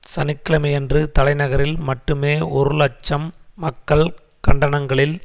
சனி கிழமையன்று தலைநகரில் மட்டுமே ஒரு இலட்சம் மக்கள் கண்டனங்களில்